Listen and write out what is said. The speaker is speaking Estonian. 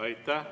Aitäh!